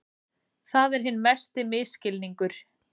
Það er hinn mesti misskilningur.